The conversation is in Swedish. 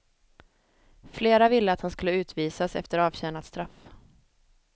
Flera ville att han skulle utvisas efter avtjänat straff.